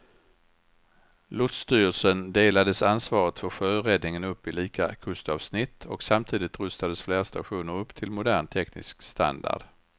Lotsstyrelsen delades ansvaret för sjöräddningen upp i lika kustavsnitt och samtidigt rustades flera stationer upp till modern teknisk standard.